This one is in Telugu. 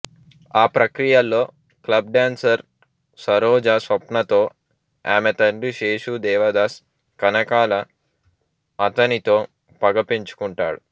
ఆ ప్రక్రియలో క్లబ్ డాన్సర్ సరోజా స్వప్న తో ఆమె తండ్రి శేషు దేవదాస్ కనకాల అతనితో పగ పెంచుకుంటాడు